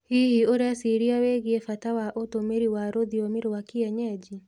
Hihi ũreciria wĩgie bata wa ũtũmĩri wa rũthiomi rwa kĩenyenji?